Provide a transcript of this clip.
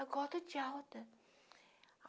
Agora eu estou de alta.